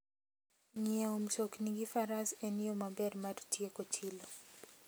Ng'iewo mtokni gi Faras en yo maber mar tieko chilo.